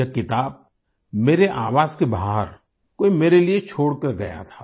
यह किताब मेरे आवास के बाहर कोई मेरे लिए छोड़कर गया था